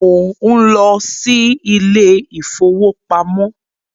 Mò ń lọ sí ilé ìfowópamọ́